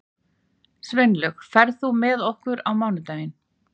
Sveinlaug, ferð þú með okkur á mánudaginn?